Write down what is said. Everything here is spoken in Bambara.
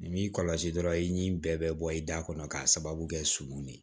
Nin b'i kɔlɔsi dɔrɔn i ni bɛɛ bɛ bɔ i da kɔnɔ k'a sababu kɛ surun ye